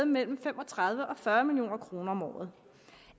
mellem fem og tredive og fyrre million kroner om året